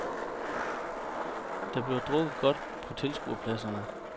Der bliver drukket godt på tilskuerpladserne.